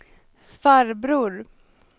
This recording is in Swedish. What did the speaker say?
farbror